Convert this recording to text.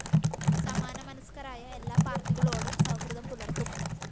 സമാനമനസ്‌കരായ എല്ലാ പാര്‍ട്ടികളോടും സൗഹൃദം പുലര്‍ത്തും